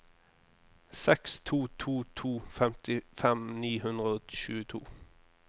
seks to to to femtifem ni hundre og tjueto